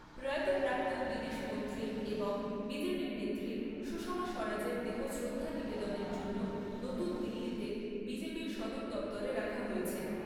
প্রয়াত প্রাক্তন বিদেশমন্ত্রী এবং বিজেপির নেত্রী সুষমা স্বরাজের দেহ শ্রদ্ধা নিবেদনের জন্য নতুন দিল্লিতে বিজেপি'র সদর দপ্তরে রাখা হয়েছে।